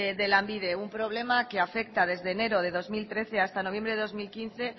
de lanbide un problema que afecta desde enero de dos mil trece hasta noviembre de dos mil quince